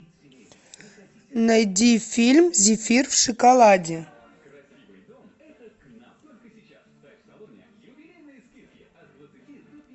найди фильм зефир в шоколаде